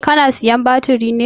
Ka na sayan batiri ne?